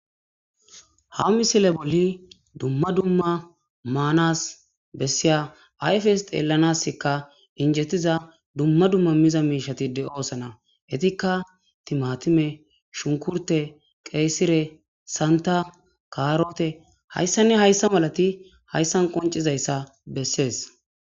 Ha misile boli duma duma manas bessiya ayfes xelanaskka injetiza duma duma miza miishati de'osana etikka timatime, shunkurte, qeesire, santa ,kaarote haysane hayssa malati haysan qonc'izaysa beses.